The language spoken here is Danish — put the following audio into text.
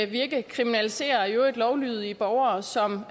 vi ikke kriminaliserer nogle i øvrigt lovlydige borgere som